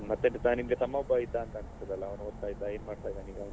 ಮತ್ತೆ ನಿಮಗೊಬ್ಬ ತಮ್ಮ ಒಬ್ಬ ಇದ್ದ ಅನ್ಸುತ್ತದಲ್ಲ ಅವ್ನ್ ಓದ್ತಾ ಇದ್ದ ಅವನೇನು ಮಾಡ್ತಿದ್ದಾನೆ ಅವನೀಗ?